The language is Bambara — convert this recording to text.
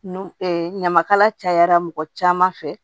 Nu ɲamakala cayara mɔgɔ caman fɛ